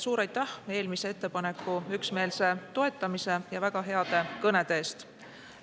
Suur aitäh eelmise ettepaneku üksmeelse toetamise ja väga heade kõnede eest!